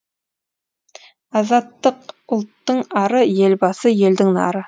азаттық ұлттың ары елбасы елдің нары